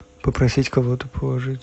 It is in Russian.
попросить кого то положить